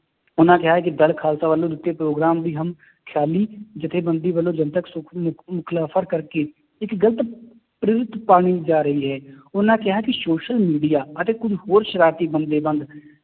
ਉਹਨਾਂ ਕਿਹਾ ਹੈ ਕਿ ਦਲ ਖਾਲਸਾ ਵੱਲੋਂ ਦਿੱਤੇ ਪ੍ਰੋਗਰਾਮ ਦੀ ਹਮ ਖਿਆਲੀ ਜੱਥੇਬੰਦੀ ਵੱਲੋਂ ਜਨਤਕ ਕਰਕੇ ਇੱਕ ਗ਼ਲਤ ਪਾਲੀ ਜਾ ਰਹੀ ਹੈ ਉਹਨਾਂ ਕਿਹਾ ਕਿ social media ਅਤੇ ਕੁੱਝ ਹੋਰ ਸਰਾਰਤੀ